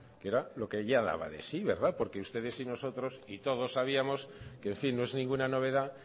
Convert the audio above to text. que era lo que ya daba de sí verdad porque ustedes y nosotros y todos sabíamos que en fin no es ninguna novedad